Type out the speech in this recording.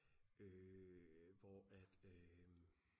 øh hvor at øh